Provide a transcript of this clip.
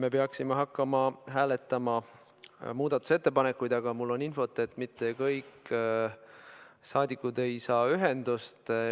Me peaksime hakkama hääletama muudatusettepanekuid, aga mul on infot, et mitte kõik saadikud ei ole ühendust saanud.